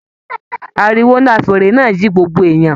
Àríwó nlá fèèrè náà ji gbogbo èèyàn.